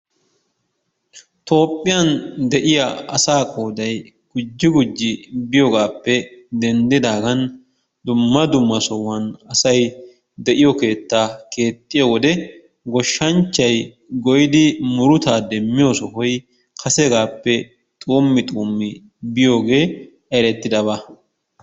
Toophphiyan de'iya asaa qooday gujji gujji biyogaappe denddidaagan dumma dumma sohuwan asay de'iyo keettaa keexxiyo wode goshshanchchay goyidi murutaa demmiyo sohoy kasegaappe xuummi xuummi biyogee erettidaba.